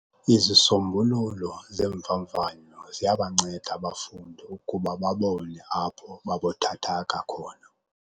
Izisombululo zeemvavanyo ziyabanceda abafundi ukuba babone apho babuthathaka khona.